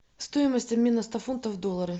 стоимость обмена ста фунтов в доллары